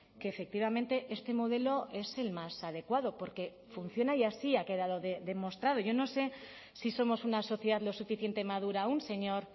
que efectivamente este modelo es el más adecuado porque funciona y así ha quedado demostrado yo no sé si somos una sociedad lo suficiente madura aún señor